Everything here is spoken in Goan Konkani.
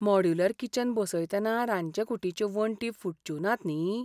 मॉड्युलर किचन बसयतना रांदचे कुटीच्यो वण्टी फुटच्यो नात न्ही?